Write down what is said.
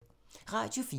Radio 4